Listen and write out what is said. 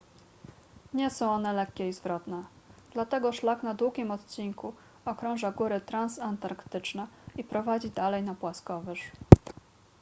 nie są one lekkie i zwrotne dlatego szlak na długim odcinku okrąża góry transantarktyczne i prowadzi dalej na płaskowyż